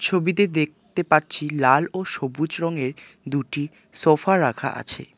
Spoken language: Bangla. ছবিতে দেখতে পাচ্ছি লাল ও সবুজ রঙের দুটি সোফা রাখা আছে।